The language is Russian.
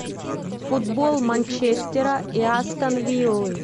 футбол манчестера и астон виллы